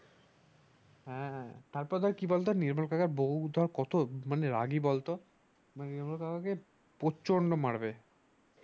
হ্যাঁ হ্যাঁ তারপর কি বল তো নির্মল কাকার বউ কত মানে রাগী বল তো নির্মল কাকা আমাকে প্রচন্ড মারবে